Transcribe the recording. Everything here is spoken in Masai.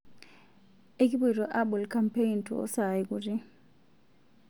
Ekipuoto abol kaampein too saai kuti